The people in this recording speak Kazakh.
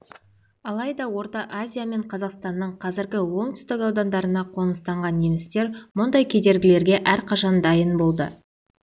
алайда орта азия мен қазақстанның қазіргі оңтүстік аудандарына қоныстанған немістер мұндай кедергілерге әрқашан дайын болды